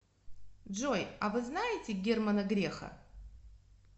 джой а вы знаете германа греха